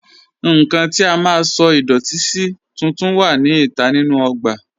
Nnkàn tí à má sọ̀ idọ̀tì sí tùntún wà ní ìtà nínu ogbà